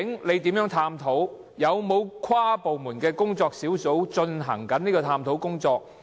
現時有否任何跨部門工作小組正在進行有關的探討工作？